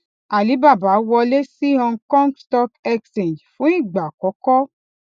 alibaba wọlé sí hong kong stock exchange fún ìgbà àkọkọ